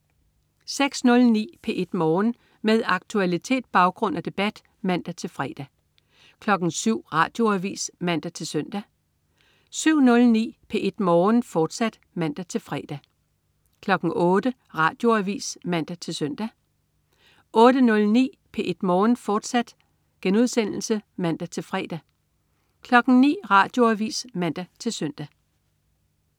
06.09 P1 Morgen. Med aktualitet, baggrund og debat (man-fre) 07.00 Radioavis (man-søn) 07.09 P1 Morgen, fortsat (man-fre) 08.00 Radioavis (man-søn) 08.09 P1 Morgen, fortsat* (man-fre) 09.00 Radioavis (man-søn)